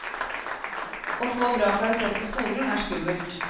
Å få bra karakterer på skolen, er skummelt.